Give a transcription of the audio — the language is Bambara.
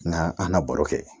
N ga an na baro kɛ